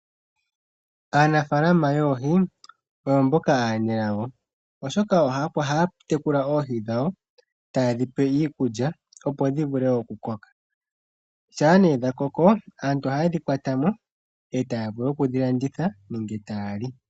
Aanafaalama yoohi oyo mboka aanelago oshoka ohaya tekula oohi dhawo tayedhipe iikulya opo dhi vule okukoka. Shampa dhakoko aantu ohayedhi kwatamo yedhilandithe nenge tayali.